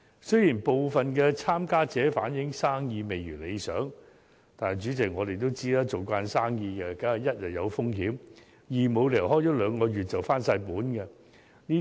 雖然部分參加者反映生意未如理想，不過，主席，我們也知道，做生意總會有風險，亦沒有理由開業兩個月便可全部回本。